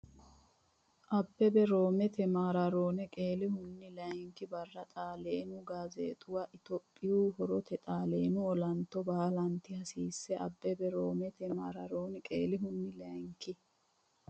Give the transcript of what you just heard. Abbebe Roomete maaraaroone qeelihunni layinki barra Xaaleenu Gaazzeexx- uwa “Itophiya horrate Xaaleenu olanto baalanti hasiisse Abbebe Roomete maaraaroone qeelihunni layinki.